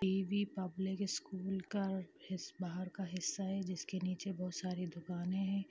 DV. Public school का हिस बाहर का हिस्सा है जिसके नीचे बहुत सारी दुकाने हैं